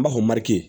N b'a fɔ mali